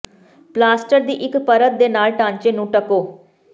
plaster ਦੀ ਇੱਕ ਪਰਤ ਦੇ ਨਾਲ ਢਾਂਚੇ ਨੂੰ ਢੱਕੋ